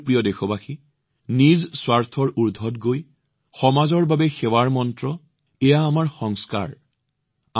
মোৰ মৰমৰ দেশবাসীসকল নিজৰ ঊৰ্ধলৈ উঠি সমাজৰ সেৱাৰ মন্ত্ৰ সমাজৰ বাবে নিজৰ মন্ত্ৰ আমাৰ ৰীতিনীতিৰ অংশ